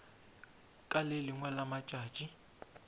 ka le lengwe la matšatši